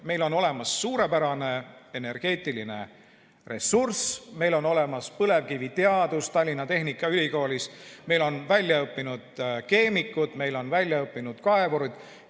Meil on olemas suurepärane energeetiline ressurss, meil on olemas põlevkiviteadus Tallinna Tehnikaülikoolis, meil on väljaõppinud keemikud, meil on väljaõppinud kaevurid.